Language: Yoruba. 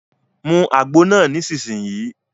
Mu àgbo náà nísìsiyìí!